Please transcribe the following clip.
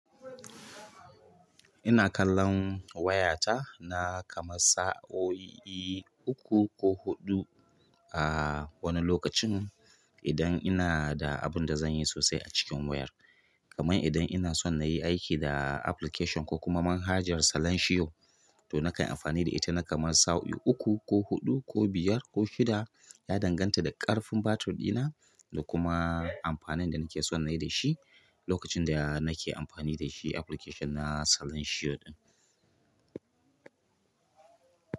Ina kallon wayata na kamar sa'o'i uku ko huɗu a wani lokacin idan ina da abinda zan yi sosai a cikin wayar. Kaman idan ina son na yi aiki da application ko kuma manhajar Salanshiyo, to na kan amfani da ita na kamar sa'o'i uku ko huɗu ko biyar ko shida, ya danganta da ƙarfin batir ɗina da kuma amfanin da nake son na yi da shi lokacin da nake amfani da shi application na Salansiyo ɗin.